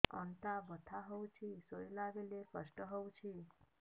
ଅଣ୍ଟା ବଥା ହଉଛି ଶୋଇଲା ବେଳେ କଷ୍ଟ ହଉଛି